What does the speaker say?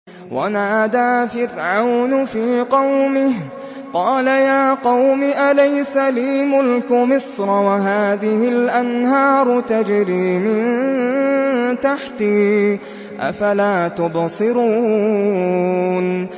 وَنَادَىٰ فِرْعَوْنُ فِي قَوْمِهِ قَالَ يَا قَوْمِ أَلَيْسَ لِي مُلْكُ مِصْرَ وَهَٰذِهِ الْأَنْهَارُ تَجْرِي مِن تَحْتِي ۖ أَفَلَا تُبْصِرُونَ